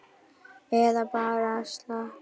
Eða bara að slappa af.